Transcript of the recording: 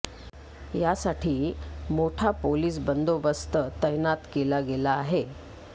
यासाठी मोठा पोलीस बंदोबस्त तैनात केला गेला आहे